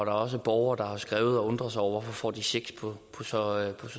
er også borgere der har skrevet og undret sig over hvorfor de får checks på så